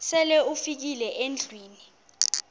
sele ufikile endlwini